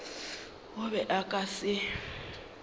o be a ka se